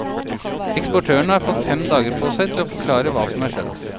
Eksportørene har fått fem dager på seg til å forklare hva som er skjedd.